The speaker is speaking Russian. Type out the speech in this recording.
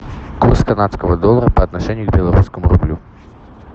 курс канадского доллара по отношению к белорусскому рублю